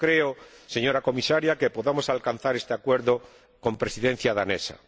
No creo, señora Comisaria, que podamos alcanzar este acuerdo con la Presidencia danesa.